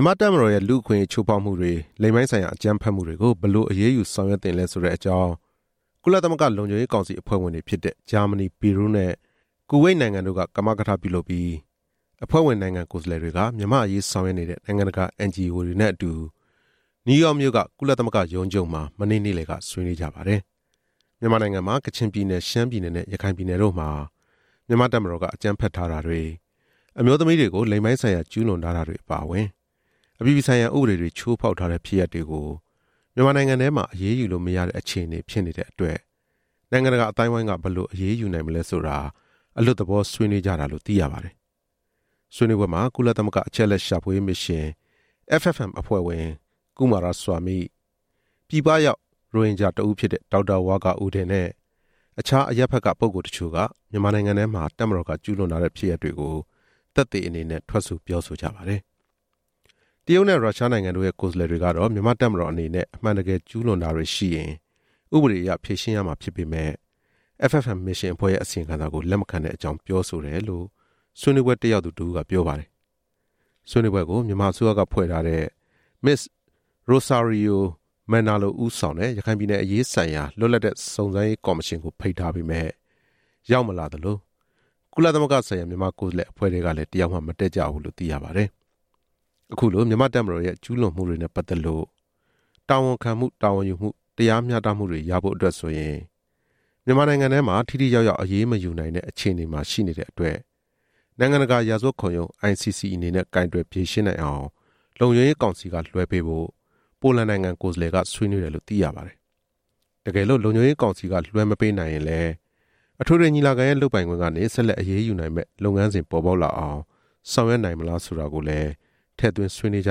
ြန်မာ့တပ်မတော်ရဲ့ လူ့အခွင့်အရေးချိုးဖောက်မှုတွေ၊ လိင်ပိုင်းဆိုင်ရာအကြမ်းဖက်မှုတွေကို ဘယ်လိုအရေး ယူဆောင်ရွက်သင့်လဲ ဆိုတဲ့အကြောင်း ကုလသမဂ္ဂလုံခြုံရေးကောင်စီ အဖွဲ့ဝင်တွေဖြစ်တဲ့ ဂျာမဏီ၊ ပီရူးနဲ့ ကူဝိတ်နိုင်ငံတို့ ကမကထပြုလုပ်ပြီး အဖွဲ့ဝင်နိုင်ငံ ကိုယ်စားလှယ်တွေက မြန်မာ့အရေး ဆောင်ရွက်နေတဲ့ နိုင်ငံတကာ NGO တွေနဲ့အတူ နယူးယောက်မြို့က ကုလသမဂ္ဂရုံးချုပ်မှာ မနေ့ နေ့လယ်က ဆွေးနွေးကြပါတယ်။ မြန်မာနိုင်ငံမှာ ကချင်ပြည်နယ်၊ ရှမ်းပြည်နယ်နဲ့ ရခိုင်ပြည်နယ်တို့မှာ မြန်မာ့တပ်မတော်က အကြမ်းဖက်ထားတာတွေ၊ အမျိုးသမီးတွေကို လိင်ပိုင်းဆိုင်ရာကျူးလွန်ထားတာတွေ အပါအဝင် အပြည်ပြည်ဆိုင်ရာ ဥပဒေတွေချိုးဖောက်ထား တဲ့ဖြစ်ရပ်တွေကို မြန်မာနိုင်ငံထဲမှာ အရေးယူလို့မရတဲ့ အခြေအနေဖြစ်နေတဲ့အတွက် နိုင်ငံတကာအသိုင်းအဝိုင်းက ဘယ်လိုအရေးနိုင်မလဲဆိုတာ အလွတ်သဘောဆွေးနွေးကြတာလို့ သိရပါတယ်။ ဆွေးနွေးပွဲမှာ ကုလသမဂ္ဂ အချက်အလက်ရှာဖွေရေးမစ်ရှင် FFM အဖွဲ့ဝင် ကုမာရဆွာမိ၊ ပြည်ပရောက် ရိုဟင်ဂျာ တစ်ဦးဖြစ်တဲ့ ဒေါက်တာဝါကာအူဒင်နဲ့ အခြားအရပ်ဖက်က ပုဂ္ဂိုလ်တချို့က မြန်မာနိုင်ငံထဲမှာ တပ်မတော်က ကျူးလွန်ထားတဲ့ဖြစ်ရပ်တွေကို သက်သေအနေနဲ့ ပြောဆိုကြပါတယ်။ တရုတ်နဲ့ ရုရှားနိုင်ငံတို့ရဲ့ ကိုယ်စားလှယ်တွေကတော့ မြန်မာ့တပ်မတော်အနေနဲ့ အမှန်တကယ် ကျူးလွန်တာတွေ ရှိရင် ဥပဒေအရဖြေရှင်းရမှာဖြစ်ပေမယ့် FFM မစ်ရှင်အဖွဲ့ရဲ့အစီရင်ခံစာကို လက်မခံတဲ့အကြောင်း ပြောဆိုတယ်လို့ ဆွေးနွေးပွဲတက်ရောက်သူတစ်ဦးက ပြောပါတယ်။ ဆွေးနွေးပွဲကို မြန်မာအစိုးရကဖွဲ့ထားတဲ့ မစ္စ ရိုဆာရီယိုမယ်နာလို ဦးဆောင်တဲ့ ရခိုင်ပြည်နယ်အရေးဆိုင်ရာ လွတ်လပ်တဲ့စုံစမ်းရေးကော်မရှင်ကို ဖိတ်ထားပေမယ့်၊ မရောက်လာသလို၊ ကုလသမဂ္ဂဆိုင်ရာ မြန်မာကိုယ်စားလှယ် အဖွဲ့ထဲကလည်း တစ်ယောက်မှမတက်ကြဘူးလို့ သိရပါတယ်။ အခုလို မြန်မာ့တပ်မတော်ရဲ့ ကျူးလွန်မှုတွေနဲ့ပတ်သက်လို့ တာဝန်ခံမှု၊ တာဝန်ယူမှု၊ တရားမျှတမှုတွေ ရဖို့အတွက် ဆိုရင် မြန်မာနိုင်ငံထဲမှာ ထိထိရောက်ရောက် အရေးမယူနိုင်တဲ့ အခြေအနေမှာရှိတဲ့အတွက်၊ နိုင်ငံတကာရာဇဝတ် ခုံရုံး ICC အနေနဲ့ ကိုင်တွယ်ဖြေရှင်းနိုင်အောင် လုံခြုံရေးကောင်စီက လွှဲပေးဖို့ ပိုလန်နိုင်ငံကိုယ်စားလှယ်က ဆွေးနွေးတယ်လို့ သိရပါတယ်။ တကယ်လို့ လုံခြုံရေးကောင်စီက လွှဲမပေးနိုင်ရင်လည်း အထွေထွေညီလာခံရဲ့ လုပ်ပိုင်ခွင့်ကနေ ဆက်လက်အရေး ယူနိုင်မယ့် လုပ်ငန်းစဉ်ပေါ်ပေါက်လာအောင် ဆောင်ရွက်နိုင်မလားဆိုတာကိုလည်း ထည့်သွင်းဆွေးနွေးကြ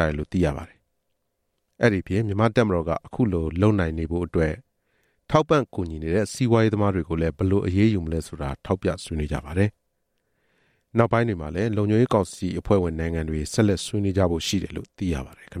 တယ်လို့ သိရပါတယ်။ အဲဒီအပြင် မြန်မာ့တပ်မတော်က အခုလို လုပ်နိုင်နေဖို့အတွက် ထောက်ပံ့ကူညီနေတဲ့ စီးပွားရေး သမားတွေကိုလည်း ဘယ်လိုအရေးယူမလဲဆိုတာ ထောက်ပြဆွေးနွေးကြပါတယ်။ နောက်ပိုင်းမှာလည်း လုံခြုံရေးကောင်စီဝင်နိုင်ငံတွေ ဆက်လက်ဆွေးနွေးကြဖို့ရှိတယ်လို့ သိရပါတယ်ခင်ဗျာ